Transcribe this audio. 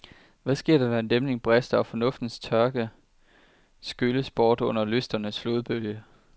Hvad sker der, når en dæmning brister, og fornuftens tørke skylles bort under lysternes flodbølge?